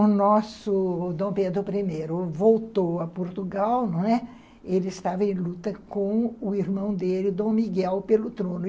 O nosso Dom Pedro I voltou a Portugal, não é? ele estava em luta com o irmão dele, Dom Miguel, pelo trono.